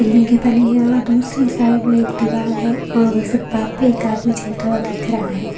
और दूसरी साइड में एक दीवार है और फुटपाथ पे एक आदमी चलता हुआ दिख रहा है।